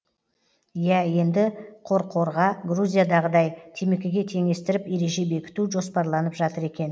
иә енді қорқорға грузиядағыдай темекіге теңестіріп ереже бекіту жоспарланып жатыр екен